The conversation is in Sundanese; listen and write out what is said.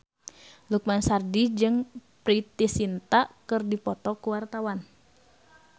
Lukman Sardi jeung Preity Zinta keur dipoto ku wartawan